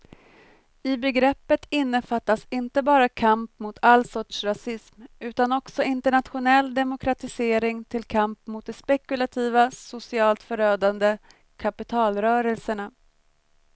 I begreppet innefattas inte bara kamp mot all sorts rasism utan också internationell demokratisering till kamp mot de spekulativa, socialt förödande kapitalrörelserna.